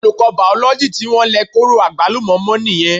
Olùkọ́ Bàòlójì tí wọ́n lẹ kóró àgbálùmọ́ mọ́ nìyẹn